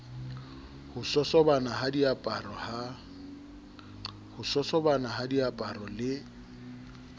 ho sosobana ha diaparo le